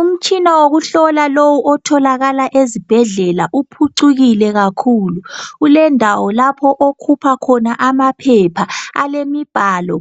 Umtshina wokuhlola lowu otholakala ezibhedlela uphucukile kakhulu. Kulendawo lapho okhupha khona amaphepha alemibhalo